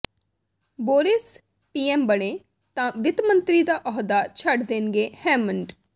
Boris PM ਬਣੇ ਤਾਂ ਵਿੱਤ ਮੰਤਰੀ ਦਾ ਅਹੁਦਾ ਛੱਡ ਦੇਣਗੇ ਹੈਮੰਡ